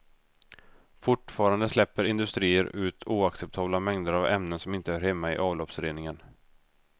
Fortfarande släpper industrier ut oacceptabla mängder av ämnen som inte hör hemma i avloppsreningen.